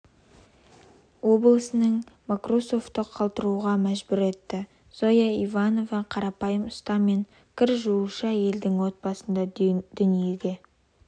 облысының мокроусовты қалтыруға мәжбүр етті зоя иванова қарапйым ұста мен кір жуушы әйелдің отбасында дүниеге